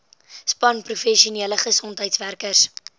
span professionele gesondheidswerkers